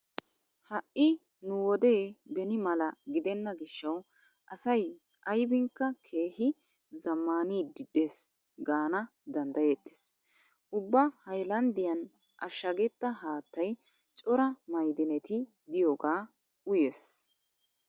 Ha"i nu wode beni mala gidenna gishshawu asay aybinkka keehi zammaaniiddi dees gaana danddayettees. Ubba haylanddiyan ashshagetta haattay cora ma'idineti diyoga uyees.